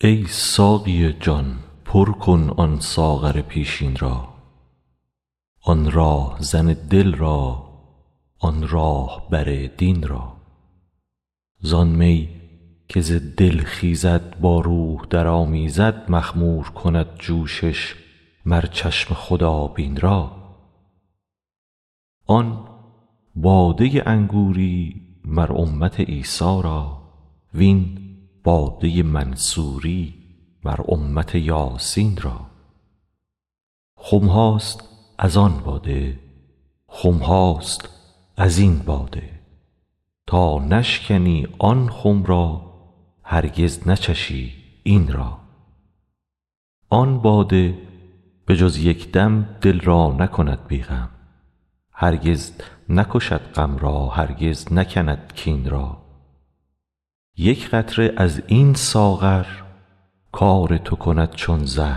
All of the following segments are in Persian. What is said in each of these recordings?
ای ساقی جان پر کن آن ساغر پیشین را آن راهزن دل را آن راه بر دین را زان می که ز دل خیزد با روح درآمیزد مخمور کند جوشش مر چشم خدابین را آن باده انگوری مر امت عیسی را و این باده منصوری مر امت یاسین را خم هاست از آن باده خم هاست از این باده تا نشکنی آن خم را هرگز نچشی این را آن باده به جز یک دم دل را نکند بی غم هرگز نکشد غم را هرگز نکند کین را یک قطره از این ساغر کار تو کند چون زر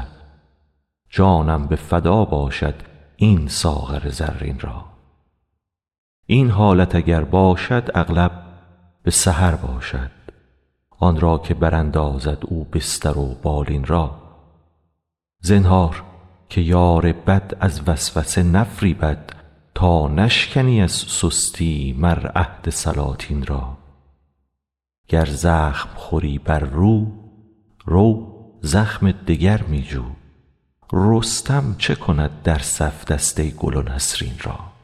جانم به فدا باشد این ساغر زرین را این حالت اگر باشد اغلب به سحر باشد آن را که براندازد او بستر و بالین را زنهار که یار بد از وسوسه نفریبد تا نشکنی از سستی مر عهد سلاطین را گر زخم خوری بر رو رو زخم دگر می جو رستم چه کند در صف دسته گل و نسرین را